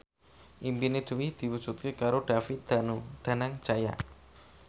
impine Dwi diwujudke karo David Danu Danangjaya